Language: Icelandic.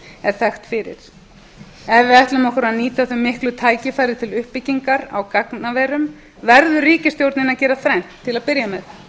er þekkt fyrir ef við ætlum okkur að nýta þau miklu tækifæri til uppbyggingar á gagnaverum verður ríkisstjórnin að gera þrennt til að byrja með